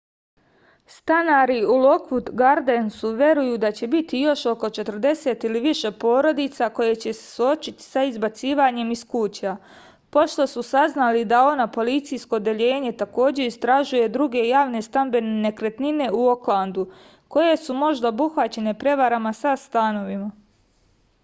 stanari u lokvud gardensu veruju da će biti još oko 40 ili više porodica koje će se suočiti sa izbacivanjem iz kuća pošto su saznali da oha policijsko odeljenje takođe istražuje druge javne stambene nekretnine u oklandu koje su možda obuhvaćene prevarama sa stanovima